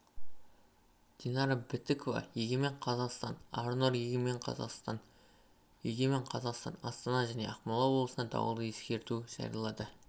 динара бітікова егемен қазақстан арнұр егемен қазақстан егемен қазақстан астана мен ақмола облысында дауылды ескерту жариялады